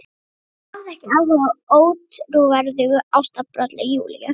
Ég hafði ekki áhuga á ótrúverðugu ástabralli Júlíu.